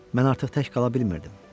Mən artıq tək qala bilmirdim.